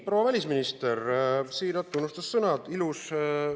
Proua välisminister, siirad tunnustussõnad!